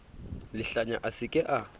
lehlanya a se ke a